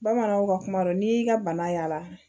Bamananw ka kuma don n'i y'i ka bana y'a la